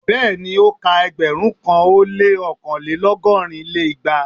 Bẹ́ẹ̀ni, o ka ẹgbẹ̀rún kan ó lé ọkanlelọgọ́rin lé igba.